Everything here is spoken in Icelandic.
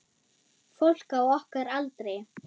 Fólk á okkar aldri.